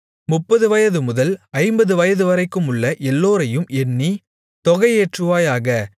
முப்பது வயதுமுதல் ஐம்பது வயதுவரைக்குமுள்ள எல்லோரையும் எண்ணி தொகை ஏற்றுவாயாக